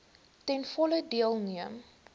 ten volle deelneem